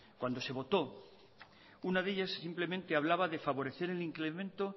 cuando se votó una de ellas simplemente hablaba de favorecer el incremento